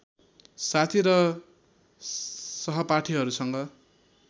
साथी र सहपाठिहरूसँग